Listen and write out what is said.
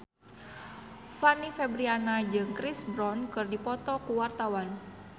Fanny Fabriana jeung Chris Brown keur dipoto ku wartawan